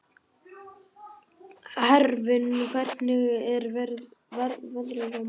Hervin, hvernig er veðrið á morgun?